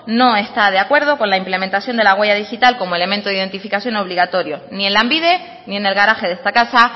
no está de acuerdo con la implementación de la huella digital como elemento de identificación obligatorio ni en lanbide ni en el garaje de esta casa